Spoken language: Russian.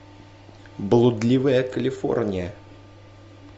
блудливая калифорния